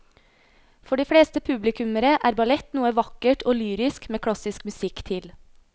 For de fleste publikummere er ballett noe vakkert og lyrisk med klassisk musikk til.